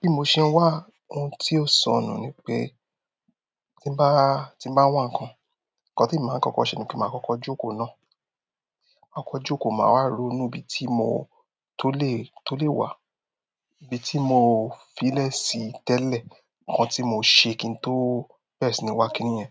Bí mo ṣe ń wà, ohun tí ó sọnù ni pé tí n bá, tí bá wà nǹkan, nǹkan tí emi màá kọ́kọ́ ṣe ni kí màá kọ́kọ́ jókòó náà. Màá kọ́kọ́ jókòó, màá wá ronú bí i tí mo tó lè, tó lè wà. Ibi tí mò ń fílè si tẹ́lẹ̀, nǹkan tí mò ń ṣe kí n tó bẹ̀rẹ̀ sí ní wà kini yẹn.